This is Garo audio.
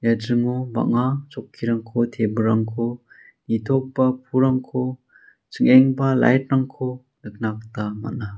ia dringo bang·a chokkirangko table-rangko nitogipa pulrangko ching·enggipa light-rangko nikna gita man·a.